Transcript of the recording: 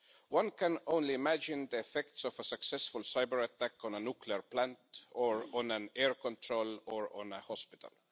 One can only imagine the effects of a successful cyber attack on a nuclear plant, on an air traffic control facility or on a hospital.